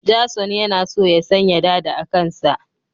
Jason yana so ya sanya dada a kansa